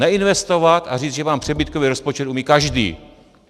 Neinvestovat a říct, že mám přebytkový rozpočet, umí každý.